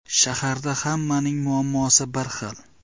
Shaharda hammaning muammosi bir xil.